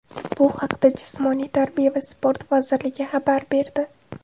Bu haqda Jismoniy tarbiya va sport vazirligi xabar berdi .